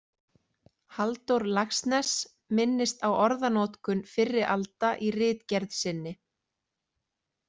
Halldór Laxness minnist á orðanotkun fyrri alda í ritgerð sinni.